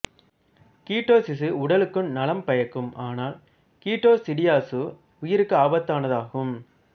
ketosis உடலுக்கு நலம் பயக்கும் ஆனால் கீட்டோசிடியசு உயிருக்கே ஆபத்தானதாகும்